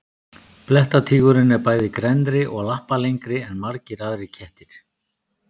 blettatígurinn er bæði grennri og lappalengri en margir aðrir kettir